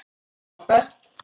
Amma best